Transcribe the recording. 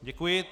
Děkuji.